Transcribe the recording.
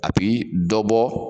A bi dɔ bɔ